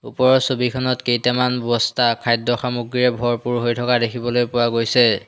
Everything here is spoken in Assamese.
ওপৰৰ ছবিখনত কেইটামান বস্তা খাদ্য সামগ্ৰীয়ে ভৰপূৰ হৈ থকা দেখিবলৈ পোৱা গৈছে।